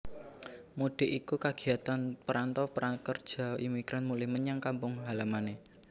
Mudik iku kagiatan perantau pekerja migran mulih menyang kampung halamané